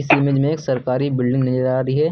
इस इमेज में एक सरकारी बिल्डिंग नजर आ रही है।